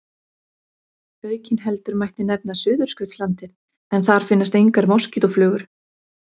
Aukinheldur mætti nefna Suðurskautslandið en þar finnast engar moskítóflugur.